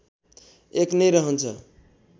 १ नै रहन्छ